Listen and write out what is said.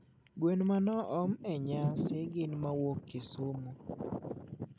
gwen manoom a nyasi gin mawuok kisumu